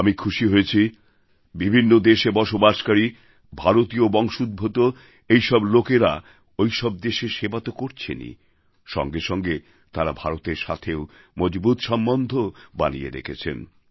আমি খুশি হয়েছি বিভিন্ন দেশে বসবাসকারী ভারতীয় বংশোদ্ভূত এই সব লোকেরা ওই সব দেশের সেবা তো করছেনই সঙ্গে সঙ্গে তাঁরা ভারতের সাথেও মজবুত সম্বন্ধ বানিয়ে রেখেছেন